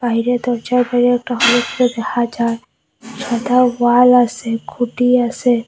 বাইরে দরজার বাইরে একটা হলুদ চো দেখা যায় সাদা ওয়াল আসে খুটি আসে।